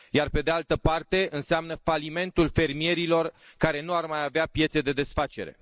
Pe de altă parte, înseamnă falimentul fermierilor, care nu ar mai avea piețe de desfacere.